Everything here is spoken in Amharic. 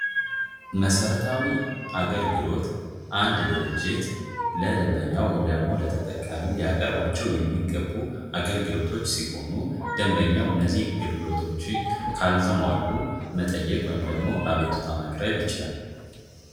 መሰረታዊ አገልግሎት አንድ ድርጅት ለደንበኛው ወይም ለተጠቃሚው ሊያቀርባቸው የሚገቡ አገልግሎቶች ሲሆኑ ደንበኛው እነዚህን አገልግሎቶች ካልተሟሉ መጠየቅ ወይም ደግሞ አቤቱታ ማቅረብ ይችላል ።